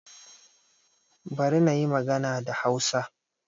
Bari na yi magana da Hausa